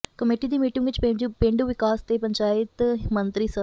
committee ਦੀ meeting ਵਿਚ ਪੇਂਡੂ ਵਿਕਾਸ ਤੇ ਪੰਚਾਇਤ ਮੰਤਰੀ ਸ